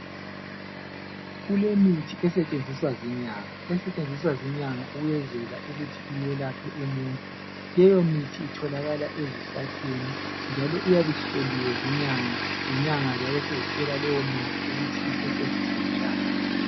Kulemithi esetshenziswa zinyanga esetshenziswa zinyanga ukwenzela ukuthi iyelaphe umuntu leyomithi itholakala ezihlahleni njalo iyabe ihloliwe zinyanga inyanga ziyabe sezitshela lowomuntu ukuthi isetshenziswa njani.